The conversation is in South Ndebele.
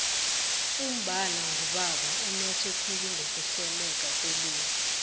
umbala ngubaba unothe khulu ngokuhleleka kwelimi